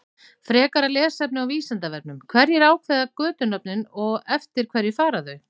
Frekara lesefni á Vísindavefnum: Hverjir ákveða götunöfnin og eftir hverju fara þau?